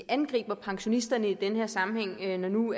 angriber pensionisterne i den her sammenhæng når det nu